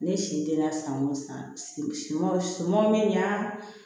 Ne si denna san o san siman siman min y'a